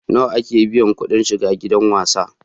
Nawa ake biya kuɗin shiga gidan wasan?